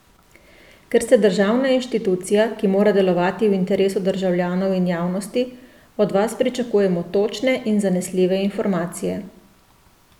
Ker ste državna inštitucija, ki mora delovati v interesu državljanov in javnosti, od vas pričakujemo točne in zanesljive informacije.